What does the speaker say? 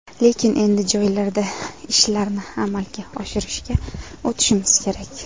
Lekin endi joylarda ishlarni amalga oshirishga o‘tishimiz kerak.